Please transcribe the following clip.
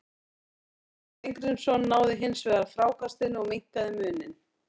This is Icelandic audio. Hallgrímur Mar Steingrímsson náði hins vegar frákastinu og minnkaði muninn.